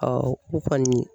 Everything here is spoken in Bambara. u kɔni.